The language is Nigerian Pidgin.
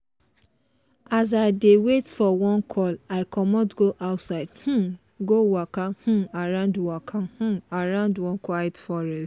as i dey wait for one call i comot go outside um go waka um around waka um around one quiet forest.